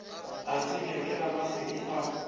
a tsebja ke ramasedi a